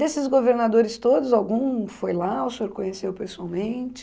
Desses governadores todos, algum foi lá, o senhor conheceu pessoalmente?